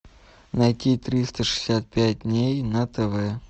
найти триста шестьдесят пять дней на тв